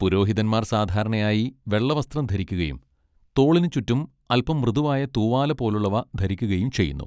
പുരോഹിതന്മാർ സാധാരണയായി വെള്ള വസ്ത്രം ധരിക്കുകയും തോളിനുചുറ്റും അൽപ്പം മൃദുവായ തൂവാല പോലുള്ളവ ധരിക്കുകയും ചെയ്യുന്നു.